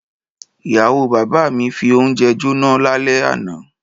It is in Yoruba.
Ìyàwó bàbá mi fi oúnjẹ jóná lálẹ́ àná.